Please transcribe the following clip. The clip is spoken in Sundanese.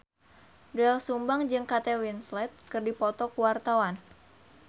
Doel Sumbang jeung Kate Winslet keur dipoto ku wartawan